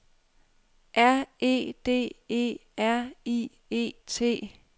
R E D E R I E T